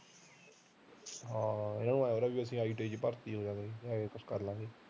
ਹਾਂ ਇਹਨਾਂ ਨੂੰ ਐ ITI ਚ ਭਰਤੀ ਹੋਜਾ ਗਏ IELTS ਕਰ ਲਾਗੇ